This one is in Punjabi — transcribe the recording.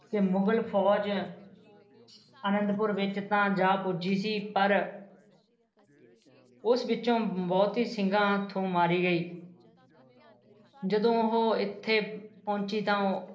ਕਿ ਮੁਗਲ ਫੌਜ ਅਨੰਦਪੁਰ ਵਿੱਚ ਤਾਂ ਜਾ ਪੁੱਜੀ ਸੀ ਪਰ ਉਸ ਪਿਛੋ ਬਹੁਤੀ ਸਿੰਘਾਂ ਹੱਥੋ ਮਾਰੀ ਗਈ ਜਦੋ ਉਹ ਇੱਥੇ ਪਹੁੰਚੀ ਤਾਂ ਉਸ